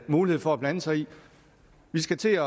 mulighed for at blande sig i vi skal til